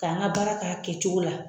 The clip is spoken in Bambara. Ka an ka baara kɛ a kɛcogo la.